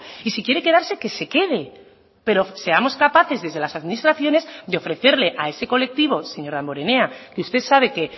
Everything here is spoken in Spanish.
y si quiere quedarse que se quede pero seamos capaces desde las administraciones de ofrecerle a ese colectivo señor damborenea que usted sabe que